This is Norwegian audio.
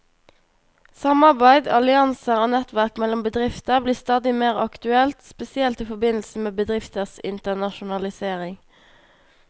Samarbeid, allianser og nettverk mellom bedrifter blir stadig mer aktuelt, spesielt i forbindelse med bedrifters internasjonalisering.